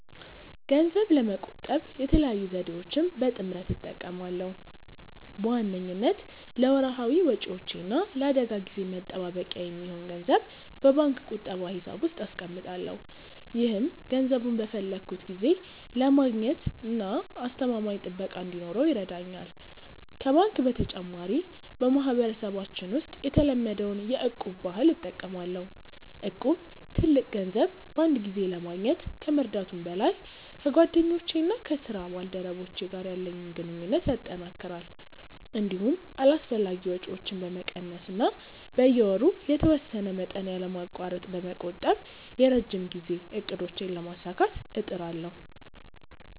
ገንዘብ ለመቆጠብ የተለያዩ ዘዴዎችን በጥምረት እጠቀማለሁ። በዋነኝነት ለወርሃዊ ወጪዎቼ እና ለአደጋ ጊዜ መጠባበቂያ የሚሆን ገንዘብ በባንክ ቁጠባ ሂሳብ ውስጥ አስቀምጣለሁ። ይህም ገንዘቡን በፈለግኩት ጊዜ ለማግኘትና አስተማማኝ ጥበቃ እንዲኖረው ይረዳኛል። ከባንክ በተጨማሪ፣ በማህበረሰባችን ውስጥ የተለመደውን የ'እቁብ' ባህል እጠቀማለሁ። እቁብ ትልቅ ገንዘብ በአንድ ጊዜ ለማግኘት ከመርዳቱም በላይ፣ ከጓደኞቼና ከስራ ባልደረቦቼ ጋር ያለኝን ግንኙነት ያጠናክራል። እንዲሁም አላስፈላጊ ወጪዎችን በመቀነስ እና በየወሩ የተወሰነ መጠን ያለማቋረጥ በመቆጠብ የረጅም ጊዜ እቅዶቼን ለማሳካት እጥራለሁ።